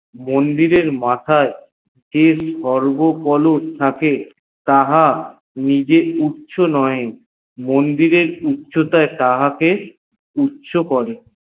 বড় আমাদের সমাজ সমপটি সমাজে মন্দিরের মাথায় যে সর্বোপরি তাহা নিজে উচ্ছো নয়ে মন্দিরের উছতয় তাহাকে উচ্ছো করে